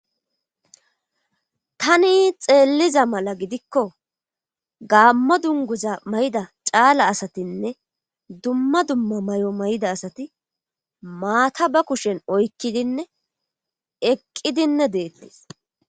tani xeelliza mala gidikko gaammo dunguza mayida caala asatinne dumma dumma may7o may7ida asati maata ba kushen oykkidinne eqqidinne deettes